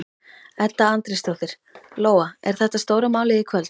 Edda Andrésdóttir: Lóa, er þetta stóra málið í kvöld?